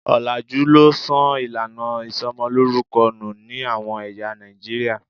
Òlàjú ló sọ ìlànà ìsomolórúkọ nù ní àwọn ẹ̀yà Nàìjíríà.